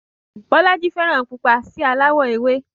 Bọ́lájí fẹ́ràn pupa sí aláwọ̀ ewé